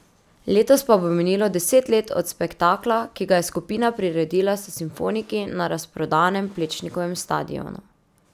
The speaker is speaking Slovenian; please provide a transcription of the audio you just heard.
Letos pa bo minilo deset let od spektakla, ki ga je skupina priredila s simfoniki na razprodanem Plečnikovem stadionu.